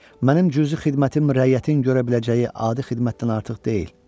Mənim cüzi xidmətim rəyyətin görə biləcəyi adi xidmətdən artıq deyil.